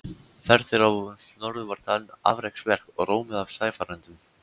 Ferð þeirra norður var talin afreksverk og rómuð af sæfarendum.